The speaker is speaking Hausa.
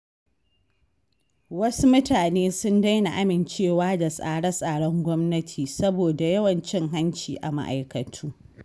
Wasu mutane sun daina amincewa da tsare-tsaren gwamnati saboda yawan cin hanci a ma'aikatu.